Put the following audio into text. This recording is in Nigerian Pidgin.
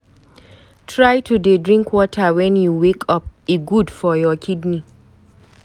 Try to dey drink water wen you wake up, e good for your kidney.